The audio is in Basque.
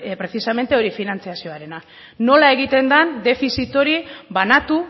finantzazioarena da nola egiten den defizit hori banatu